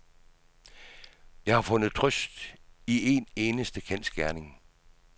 Jeg har fundet trøst i en eneste kendsgerning.